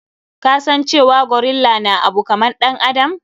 Ka san cewa gorilla na abu kaman ɗan adam.